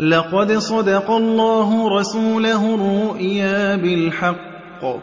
لَّقَدْ صَدَقَ اللَّهُ رَسُولَهُ الرُّؤْيَا بِالْحَقِّ ۖ